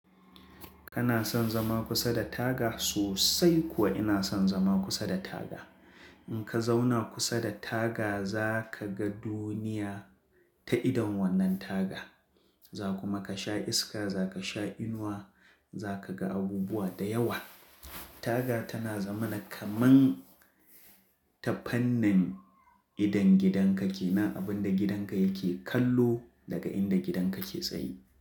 Kana son zama kusa da taga? Sosai kuwa ina son zama kusa da taga. In ka zauna kusa da taga za ka ga duniya ta idon wannan taga. Za kuma ka sha iska, za ka sha inuwa, za ka ga abubuwa da yawa. Taga tana zama na kaman tafannin idon gidanka ke, na abin da gidanka yake kallo daga inda gidanka ke tsaye.